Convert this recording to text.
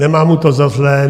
Nemám mu to za zlé.